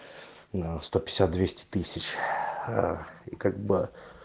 на как бы